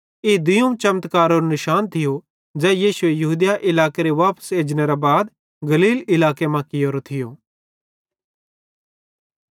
ई दुइयोवं चमत्कारेरो निशान थियो ज़ै यीशुए यहूदिया इलाकेरां वापस एजनेरां बाद गलील इलाके मां कियोरो थियो